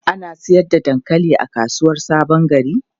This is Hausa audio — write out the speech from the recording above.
Ana sayar da dankali a kasuwar Sabon Gari?